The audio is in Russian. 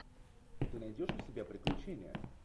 ты найдешь у себя приключения